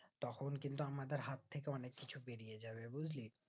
তখন কিন্তু আমাদের হাত থেকে অনিক কিছু বেরিয়ে যাবে বুজলি